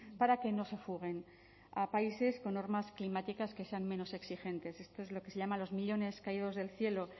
para que no se fuguen a países con normas climáticas que sean menos exigentes esto es lo que se llama los millónes caídos del cielo